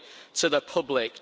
to the public.